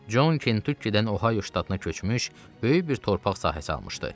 Con Kentukkidən Ohayo ştatına köçmüş, böyük bir torpaq sahəsi almışdı.